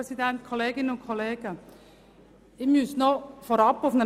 Ich bitte Sie, dieses Postulat abzulehnen.